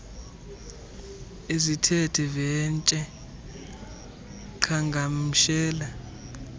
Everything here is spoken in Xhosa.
ezithe vetshe qhagamshelana